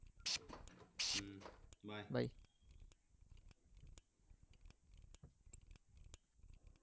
hmm by